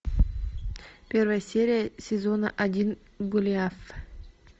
первая серия сезона один голиаф